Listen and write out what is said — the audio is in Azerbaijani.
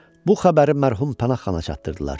Bu xəbəri mərhum Pənah Xana çatdırdılar.